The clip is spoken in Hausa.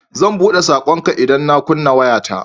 Zan buɗe saƙonka idan na kunna wayata.